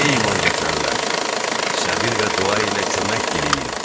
Ey iman gətirənlər, səbir və dua ilə Allahdan kömək diləyin.